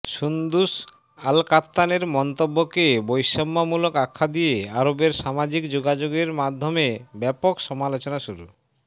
Sundus আলকাত্তানের মন্তব্যকে বৈষম্যমূলক আখ্যা দিয়ে আরবের সামাজিক যোগাযোগের মাধ্যমে ব্যাপক সমালোচনা শুরু